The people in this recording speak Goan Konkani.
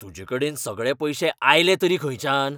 तुजेकडेन सगळे पयशे आयले तरी खंयच्यान?